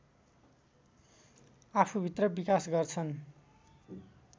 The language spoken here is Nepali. आफूभित्र विकास गर्छन्